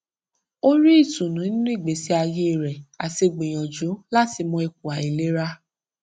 ó rí ìtùnú nínú ìgbésí ayé rè àti gbìyànjú láti mọ ipò àìlera